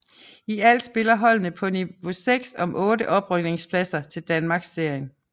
I alt spiller holdene på niveau 6 om otte oprykningspladser til Danmarksserien